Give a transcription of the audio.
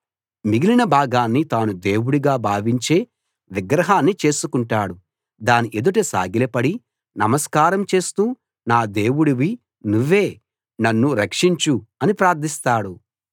మిగిలిన భాగాన్ని తాను దేవుడుగా భావించే విగ్రహాన్ని చేసుకుంటాడు దాని ఎదుట సాగిలపడి నమస్కారం చేస్తూ నా దేవుడివి నువ్వే నన్ను రక్షించు అని ప్రార్థిస్తాడు